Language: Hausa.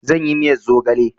Zan yi miyar zogale